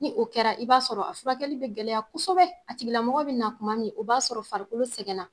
Ni o kɛra i b'a sɔrɔ a furakɛkɛli be gɛlɛya kosɛbɛ a tigilamɔgɔ be na kuma min, o b'a sɔrɔ farikolo sɛgɛnna.